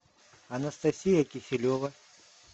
анастасия киселева